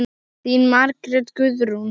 Þín Margrét Guðrún.